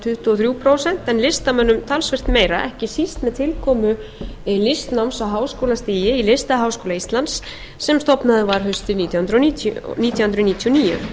tuttugu og þrjú prósent en listamönnum talsvert meira ekki síst með tilkomu listnáms á háskólastigi í listaháskóla íslands sem stofnaður var haustið nítján hundruð níutíu og níu